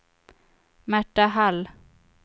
Märta Hall